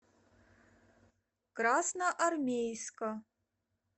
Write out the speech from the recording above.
красноармейска